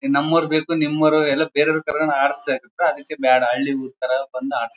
ನಮ್ಮವರು ಬೇಕು ನಿಮ್ಮವರು ಇಲ್ಲ ಬೇರೆಯವನ್ನ ಕರ್ಕೊಂಡು ಆಡ್ಸತಾಯಿದ್ರು ಅದಿಕ್ಕೆ ಬೇಡ ಹಳ್ಳಿ ಊರ್ತರ ಬಂದ್ ಆಡ್ಸಕ್ಕೆ ಹತ್ತರ್